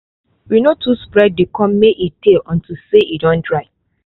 we no too spread the corn may e tay unto say e don dry